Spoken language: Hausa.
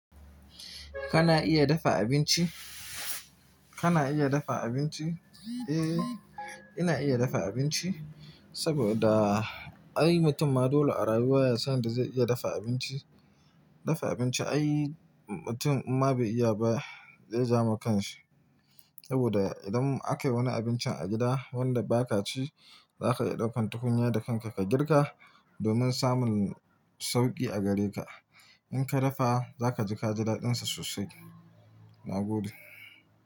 Kana iya dafa abinci? Kana iya dafa abinci? Eh, ina iya dafa abinci saboda ai mutum ma dole a rayuwa ya san yadda zai iya dafa abinci. Dafa abinci ai mutum ma bai iya ba zai ja ma kanshi saboda idan aka yi wani abinci a gida wanda ba ka ci, za ka iya daukan tukunya da kanka ka girka domin samun sauƙi a gare ka. In ka dafa za ka ji ka ji daɗinsa sosai. Na gode.